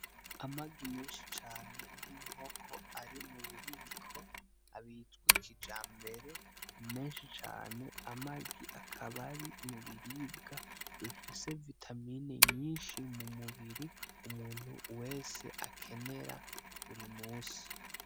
Amagi menshi cane y'inkoko ari mububiko arimwo abitswe kijambere, menshi cane, amagi akaba ari mubiribwa bifise vitamin nyishi cane mumubiri umuntu wese akenera buri musi.